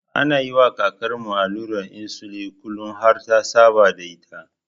Ana yiwa kakarmu allurar insulin kullin har ta saba da ita.